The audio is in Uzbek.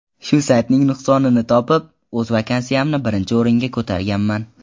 Shu saytning nuqsonini topib, o‘z vakansiyamni birinchi o‘ringa ko‘targanman.